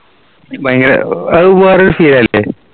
ഭയങ്കര അത് വേറെ ഒരു feel അല്ലേ